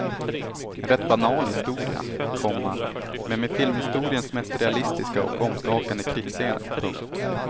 En rätt banal historia, komma men med filmhistoriens mest realistiska och omskakande krigsscener. punkt